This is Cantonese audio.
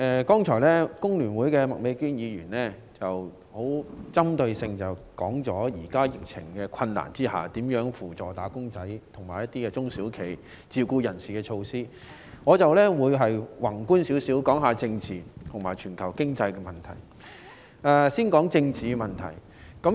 剛才香港工會聯合會的麥美娟議員的發言針對在當前的疫情下，扶助"打工仔"、中小企和自僱人士的一些措施，而我的發言則會宏觀地討論政治和全球經濟的問題。